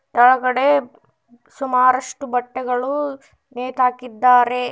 ಕೆಳಗಡೆ ಸುಮಾರಷ್ಟು ಬಟ್ಟೆಗಳು ನೇತಾಕಿದ್ದಾರೆ.